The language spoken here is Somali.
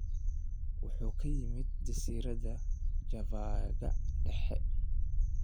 Waxa uu ka yimid jasiiradda Java-ga dhexe.